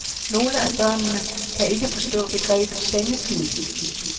Nogle af børnene kan ikke forstå begrebet sengetid.